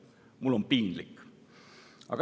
Mul on piinlik.